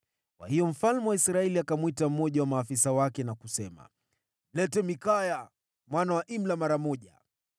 Kwa hiyo mfalme wa Israeli akamwita mmoja wa maafisa wake na kusema, “Mlete Mikaya mwana wa Imla mara moja.”